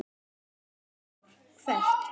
Heimir Már: Hvert?